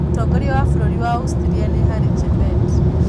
Mũtongoria wa bũrũri wa Austria nĩ Harry Chebet.